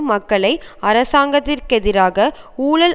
மக்களை அரசாங்கத்திற்கெதிராக ஊழல்